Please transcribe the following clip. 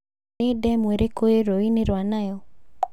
Nĩ demu ĩrĩku rĩ rũũĩ-inĩ rwa Nile